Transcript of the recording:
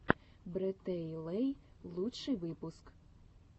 брэтэйлэй лучший выпуск